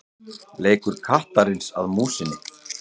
Leikur kattarins að músinni.